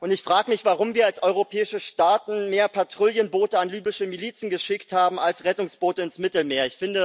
Ich frage mich, warum wir als europäische Staaten mehr Patrouillenboote an libysche Milizen geschickt haben als Rettungsboote ins Mittelmeer.